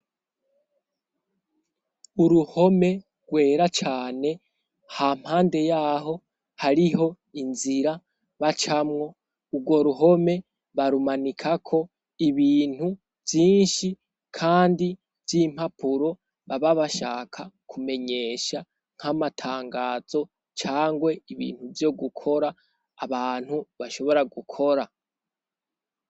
Uruhome rwera cane ha mpande yaho hariho inzira bacamwo ugwo ruhome barumanika ko ibintu vyinshi kandi vy'impapuro baba bashaka kumenyesha nk'amatangazo cangwe ibintu vyo gukora abantu bashobora gukora.